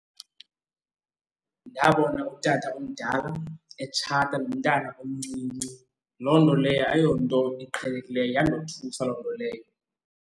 Ndabona utata omdala etshata nomntana omncinci, loo nto leyo ayonto iqhelekileyo. Yandothusa loo nto leyo.